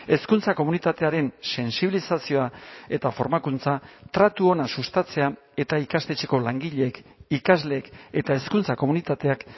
hezkuntza komunitatearen sentsibilizazioa eta formakuntza tratu ona sustatzea eta ikastetxeko langileek ikasleek eta hezkuntza komunitateak